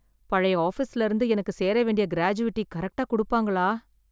பழைய ஆபிஸ்ல இருந்து எனக்கு சேர வேண்டிய கிராஜுவிட்டி கரெக்ட்டா குடுப்பாங்களா ?